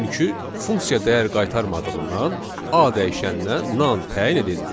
Çünki funksiya dəyər qaytarmadığından A dəyişəninə nan təyin edildi.